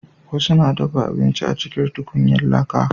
wasu na dafa abinci a cikin tukunyan laƙa